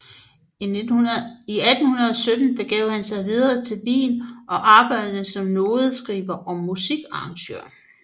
I 1817 begav han sig videre til Wien og arbejdede som nodeskriver og musikarrangør